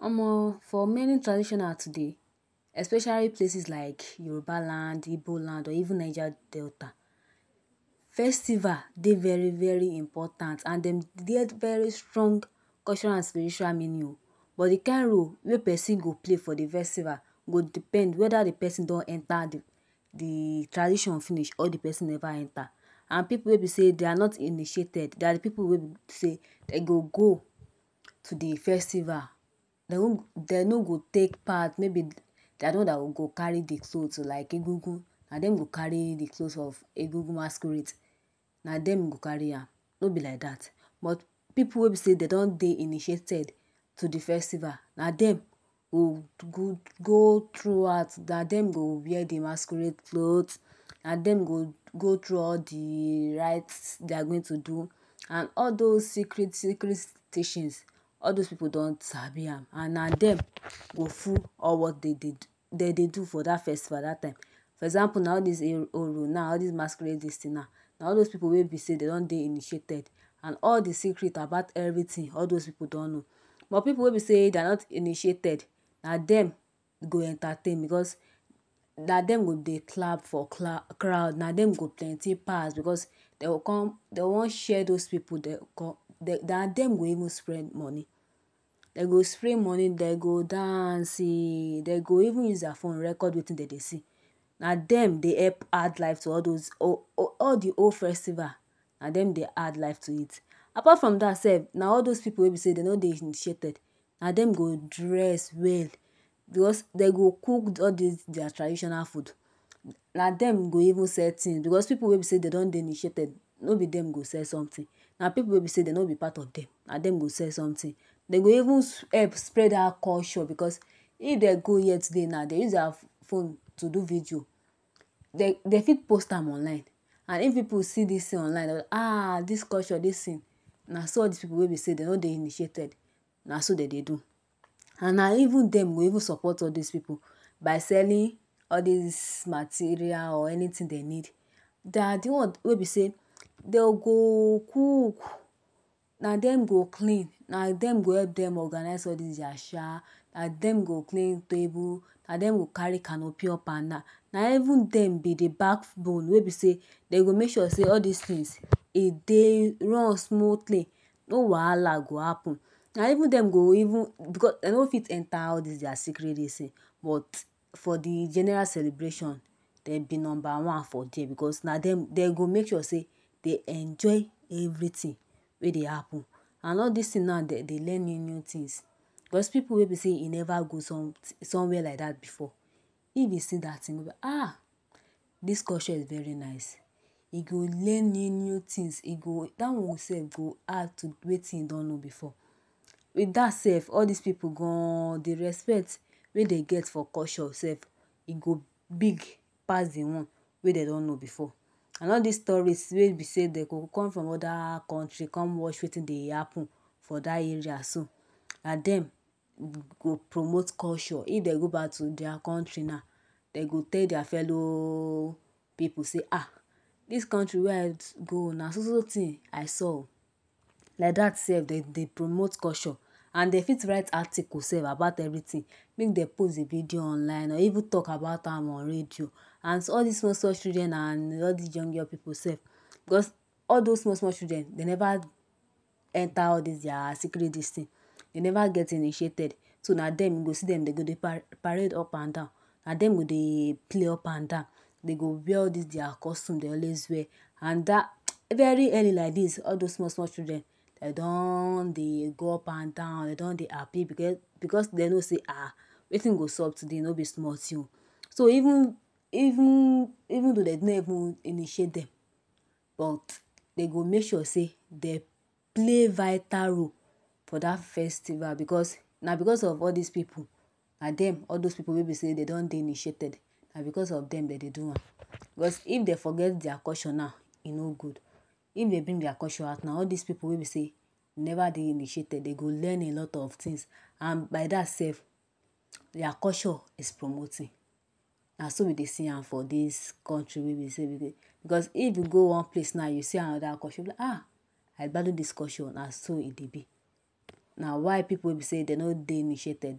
Omo, for many traditional today especially places like Yoruba land Igbo land and or even Niger Delta festival, dey very very important and dem get very strong cultural and spiritual meanings. but the kind role wey person go play for the festival go depend whether de person don enter de de tradition finish or de person never enter and people wey be sey dey are not initiated dey are de people wey be sey dem go go to de festival dey no go dey no go take part maybe dey are de one that will carry de clothes to like agungun na dem go carry de clothes if agungun masquerade na then go carry am no be like that but people wey be sey dey don dey initiated to de festival na den go go go through out na dem go wear de masquerade clothes na dem go go through all de rites dey are going to do and all those secret secret teachings. All those people don Sabi am and na dem go full all what dem dey do for that festival that time for example na all this Oro now na all this masquerade wey be sey dey don dey initiated and all de secret about everything all those people don know but people wey be sey dey are not initiated na dem e go entertain because na dem go dey clap for crowd crowd na dem go plenty pass because dem go come dem wan share those people dey come dey na dem go even spend money dem go spray money dem go dance eh dem go even use their phone record wetin dem dey see na dem dey help add life to all those all all de whole festival na dem dey add life to it apart from that sef na all those people wey be sey dey no dey initiated na dem go dress well dem go dress well because dem go cook all their traditional food na dem go even sell things because people wey dey initiated no be dem go sell something na people wey be sey dem no be part of dem na dem go sell something dem go even help spread am across shore because if dem go here today now dem go use their phone to do video dey dey for post am online and if people see this thing online dey um this culture this thing na so all this people wey be sey dey no dey initiated na so dem dey do and na even dem go even support all those people by selling all this materials or anything dey need dey are de one wey be sey dem go cook na dem go clean na dem go help dem organise all this their chair na dem go clean table na dem go carry canopy up and down na even dem dem dey back bone way be say dem dey make sure sey all this things e run smoothly no wahala go happen na even dem go even because dem no fit enter all this their secret this thing but for de general celebration dem be number one for there because na dem dem d go make sure sey dey enjoy everything wey dey happen and all this thing na dem dey learn new new things Because people wey be sey e never go some some where like that before if e see that thing e go be um this culture is very nice e go learn new new things e go that one sef go add to wetin e don know before with that sef all this people gan dey respect wey dey get for culture sef e go big pass de one wey dey don know before and all this tourist wey be sey dem go come from other country come watch wetin dey happen for that area so na dem go promote culture if dem go back to their country now dem go tell their fellow people sey um this country wey I go na so so thing I saw oo like that sef dem dey promote culture and dem fit write article sef about everything make dem post the video online or even talk about am on radio and all this small small children and all this young young people sef because all those small small children dem never enter all this their secret this thing dem never get initiated so na dem you go see dem dey go dy parade up and down na dem go dey go up and down dey go wear all this their costumes dey always wear and that very early like this all those small small children dey don dey go up and down dey don dey happen because dem know sey ah wetin dey sup today no be small thing so even even even though dey no even initiate dem dem go make sure sey dem okay vital role for the festival because na because of all this people na dem all those people wey be sey dey don dey initiated na because of dem dem dey do am Because if dem forget their culture now e no good if dey bring their culture out now all those people we be sey all this people dey never dey initiated dey go learn alot of things and by that sef their culture is promoting na so we dey see am for this country wey we sey we dey because if you go one place now you see another culture you be like um I gbadun this culture na so e dey be na why people wey be sey dey no dey initiated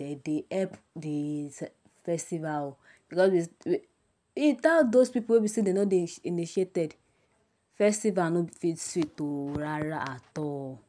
dem dey help the festival because without those people wey be sey dey no dey initiated festival no fit sweet oh rara at all.